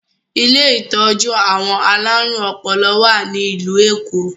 Ilé ìtọ́jú àwọn alárùn ọpọlọ wá ní ìlú Èkó